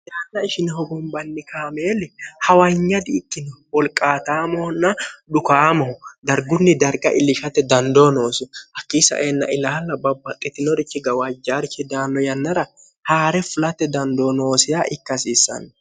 hiraanna ishine hogombanni kaameeli hawanya di ikkino wolqaataamoonna dhukaamohu dargunni darga illishate dandoo noosi hakkiisa eenna ilaalla babbaxxitinorichi gawaajjaarichi daanno yannara haa're fulate dandoo noosia ikkahasiissanno